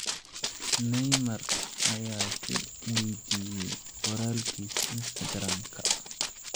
“, Neymar ayaa ku weydiiyay qoraalkiisa Instagram-ka.